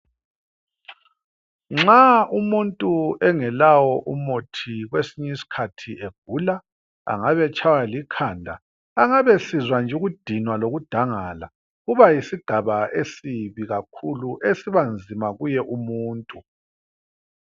Nxa umuntu engelawo umuthi kwesinye isikhathi egula. Angabe etshaywa likhanda, angabe esizwa nje ukudinwa lokudangala. Ubayisidaba esibi kakhulu, esiba nzima kuye umuntu.